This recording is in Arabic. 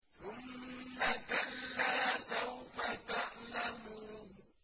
ثُمَّ كَلَّا سَوْفَ تَعْلَمُونَ